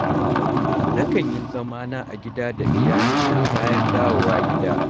Na kan yi zamana a gida da iyalina bayan dawowa gida.